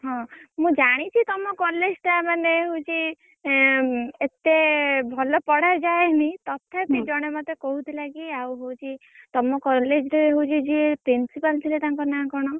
ହଁ ମୁଁ ଜାଣିଛି ତମ college ଟା ମାନେ ହଉଛି ଏଁ ଏତେ ଭଲ ପଢା ଯାଏନି ତଥାପି ଜଣେ ମତେ କହୁଥିଲା କି ଆଉ ହଉଛି ତମ college ରେ ହଉଛି ଯିଏ principal ଥିଲେ ତାଙ୍କ ନାଁ କଣ?